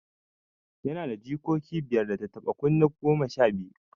Yana da jikoki biyar, da tattaɓa kunne goma sha biyu.